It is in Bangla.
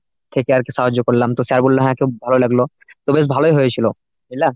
থেকে আর কি সাহায্য করলাম তো sir বলল হ্যাঁ, ভালো লাগলো তো বেশ ভালই হয়েছিল বুঝলা?